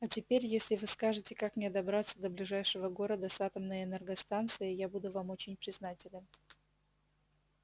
а теперь если вы скажете как мне добраться до ближайшего города с атомной энергостанцией я буду вам очень признателен